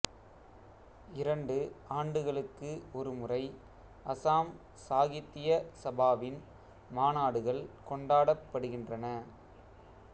இரண்டு ஆண்டுகளுக்கு ஒரு முறை அசாம் சாகித்திய சபாவின் மாநாடுகள் கொண்டாடப்படுகின்றன